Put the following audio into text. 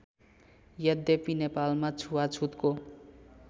यद्यपि नेपालमा छुवाछुतको